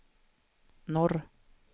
norr